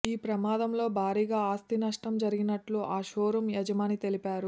ఈ ప్రమాదంలో భారీగా ఆస్తినష్టం జరిగినట్లు ఆ షోరూం యజమాని తెలిపారు